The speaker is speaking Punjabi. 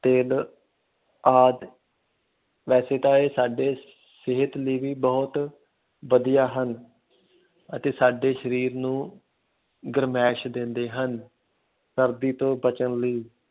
ਤਿੱਲ ਆਦਿ ਵੈਸੇ ਤਾਂ ਇਹ ਸਾਡੇ ਸਿਹਤ ਲਈ ਵੀ ਬਹੁਤ ਵਧੀਆ ਹਨ ਅਤੇ ਸਾਡੇ ਸਰੀਰ ਨੂੰ ਗਰਮੈਸ਼ ਦਿੰਦੇ ਹਨ, ਸਰਦੀ ਤੋਂ ਬਚਣ ਲਈ।